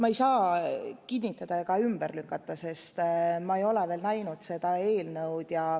Ma ei saa seda kinnitada ega ümber lükata, sest ma ei ole veel näinud seda eelnõu.